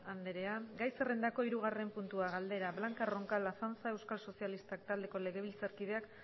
andrea gai zerrendako hirugarren puntua galdera blanca roncal azanza euskal sozialistak taldeko legebiltzarkideak